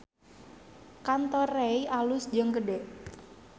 Kantor Rei alus jeung gede